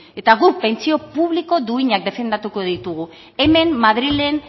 eta guk pentsio publiko duinak defendatuko ditugu hemen madrilen